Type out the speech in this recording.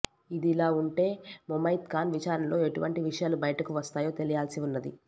ఇదిలా ఉంటె ముమైత్ ఖాన్ విచారణలో ఎటువంటి విషయాలు బయటకు వస్తాయో తెలియాల్సి ఉన్నది